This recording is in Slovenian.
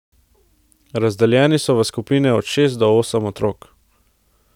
Razdeljeni so v skupine od šest do osem otrok.